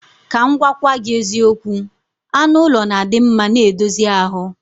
Ka m gwagwagi eziokwu, anu ulo na adimma n edozie ahu.